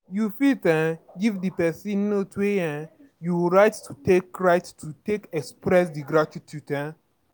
You fit um give di person note wey um you write to take write to take express di gratitude um